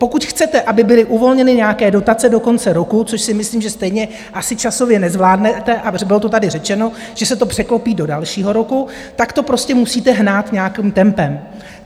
Pokud chcete, aby byly uvolněny nějaké dotace do konce roku, což si myslím, že stejně asi časově nezvládnete, a bylo to tady řečeno, že se to překlopí do dalšího roku, tak to prostě musíte hnát nějakým tempem.